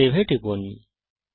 save এ টিপুন